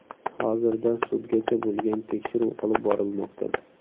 Hozirda sudgacha bo‘lgan tekshiruv olib borilmoqda.